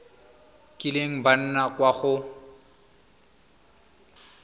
kileng ba nna kwa go